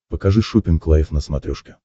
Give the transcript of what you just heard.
покажи шоппинг лайв на смотрешке